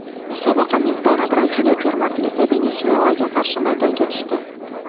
Musobaqa mezboni Braziliya termasi esa Venesuelaga qarshi maydonga tushdi.